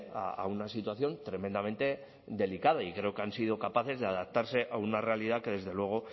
a una situación tremendamente delicada y creo que han sido capaces de adaptarse a una realidad que desde luego